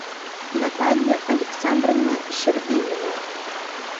наталья александровна щербинина